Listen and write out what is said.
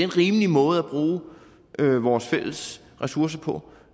rimelig måde at bruge vores fælles ressourcer på